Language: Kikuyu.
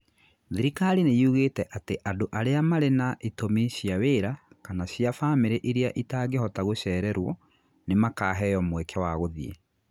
Thirikari nĩ yugĩte atĩ andũ arĩa marĩ na itũmi cia wĩra kana cia famĩlĩ iria itangĩhota gũcererũo nĩ makaheo mweke wa gũthiĩ.